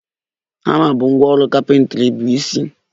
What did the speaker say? Hama bụ ngwá ọrụ carpentry bụ isi.